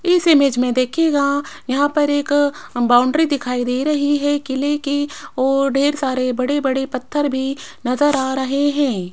इस इमेज में देखिएगा यहां पर एक अह बाउंड्री दिखाई दे रही है किले की और ढेर सारे बड़े बड़े पत्थर भी नजर आ रहे हैं।